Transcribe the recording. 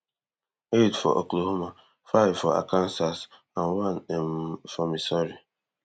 eight for oklahoma five for arkansas and one um for missouri